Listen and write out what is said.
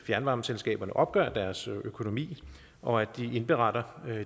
fjernvarmeselskaberne opgør deres økonomi og at de indberetter